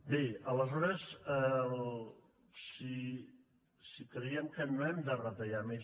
bé aleshores si creiem que no hem de retallar més